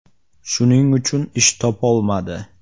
Shuning uchun ish topolmadi.